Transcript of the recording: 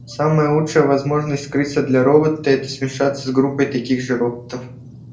самая лучшая возможность скрыться для робота это смешаться с группой таких же роботов